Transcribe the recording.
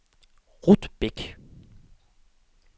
Ruth Bech